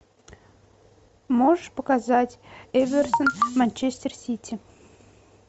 можешь показать эвертон манчестер сити